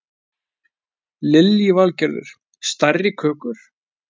Lillý Valgerður: Stærri kökur?